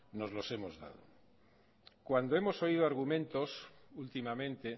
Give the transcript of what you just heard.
nos los hemos dado cuando hemos oído argumentos últimamente